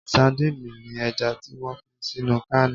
Sandini ni ẹja tí wón fi sínú cáánì